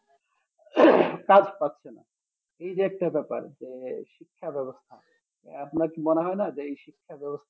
কাজ পাচ্ছে না এই যে একটা ব্যাপার যে শিক্ষা ব্যবস্থা এর আপনার কি মনে হয়না যে এই শিক্ষা ব্যবস্থা